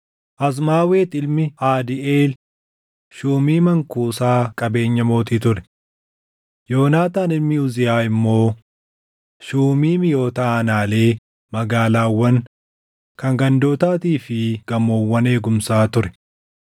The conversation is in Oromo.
Azmaawet ilmi Aadiiʼeel shuumii mankuusaa qabeenya mootii ture. Yoonaataan ilmi Uziyaa immoo shuumii miʼoota aanaalee, magaalaawwan, kan gandootaatii fi gamoowwan eegumsaa ture.